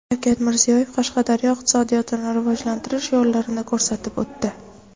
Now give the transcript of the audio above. Shavkat Mirziyoyev Qashqadaryo iqtisodiyotini rivojlantirish yo‘llarini ko‘rsatib o‘tdi.